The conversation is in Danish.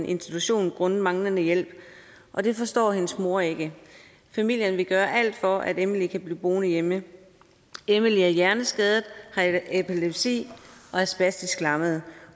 institution grundet manglende hjælp og det forstår hendes mor ikke familien vil gøre alt for at emily bliver boende hjemme emily er hjerneskadet har epilepsi og er spastisk lammet